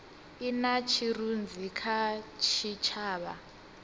i na tshirunzi kha tshitshavha